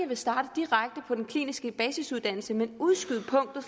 vil starte direkte på den kliniske basisuddannelse men udskyde punktet